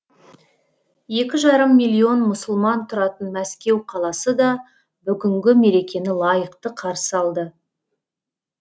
екі жарым миллион мұсылман тұратын мәскеу қаласы да бүгінгі мерекені лайықты қарсы алды